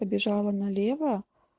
побежала налево